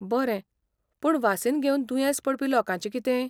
बरें, पूण वासीन घेवन दुयेंस पडपी लोकांचें कितें?